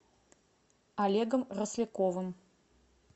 олегом росляковым